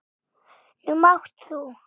Nú mátt þú.